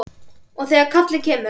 Og þegar kallið kemur.